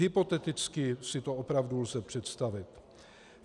Hypoteticky si to opravdu lze představit.